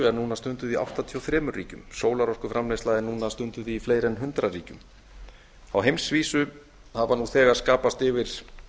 er núna stunduð í áttatíu og þremur ríkjum sólarorkuframleiðsla er núna stunduð í fleiri en hundrað ríkjum á heimsvísu hafa nú þegar skapast yfir